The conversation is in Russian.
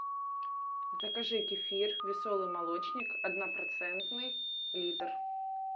закажи кефир веселый молочник однопроцентный литр